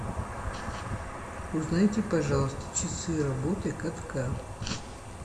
узнайте пожалуйста часы работы катка